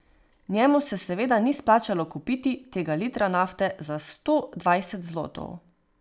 Njemu se seveda ni splačalo kupit tega litra nafte za sto dvajset zlotov.